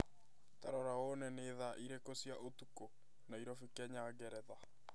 Ta rora wone nĩ thaa irĩkũ cia ũtukũ Nairobi Kenya Ngeretha